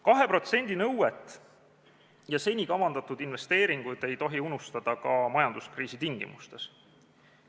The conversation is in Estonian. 2% nõuet ja seni kavandatud investeeringuid ei tohi unustada ka majanduskriisi tingimustes.